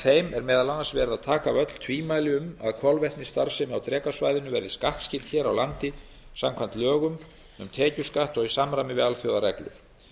þeim eru meðal annars tekin af öll tvímæli um að kolvetnisstarfsemi á drekasvæðinu verði skattskyld hér á landi samkvæmt lögum um tekjuskatt og í samræmi við alþjóðareglur